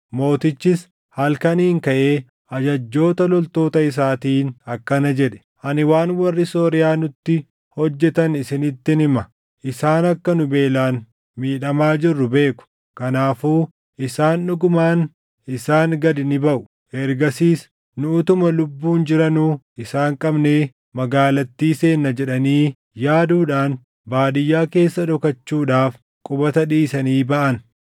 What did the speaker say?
Mootichis halkaniin kaʼee ajajjoota loltoota isaatiin akkana jedhe; “Ani waan warri Sooriyaa nutti hojjetan isinittin hima; isaan akka nu beelaan miidhamaa jirru beeku; kanaafuu isaan, ‘Dhugumaan isaan gad ni baʼu; ergasiis nu utuma lubbuun jiranuu isaan qabnee magaalattii seenna’ jedhanii yaaduudhaan baadiyyaa keessa dhokachuudhaaf qubata dhiisanii baʼan.”